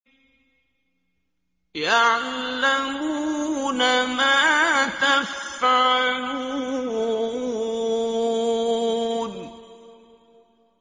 يَعْلَمُونَ مَا تَفْعَلُونَ